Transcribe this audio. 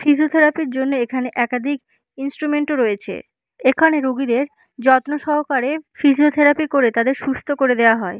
Physiotherapy -র জন্য এখানে একাধিক ইন্সট্রুমেন্ট ও রয়েছে। এখানে রোগীদের যত্ন সহকারে ফিজিওথেরাপি করে তাদের সুস্থ করে দেয়া হয়।